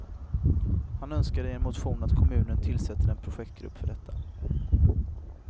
Han önskar i en motion att kommunen tillsätter en projektgrupp för detta.